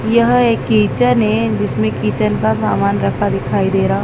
यह एक किचन है जिसमें किचन का सामान रखा दिखाई दे रहा--